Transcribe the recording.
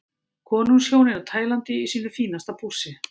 Konungshjónin á Tælandi í sínu fínasta pússi.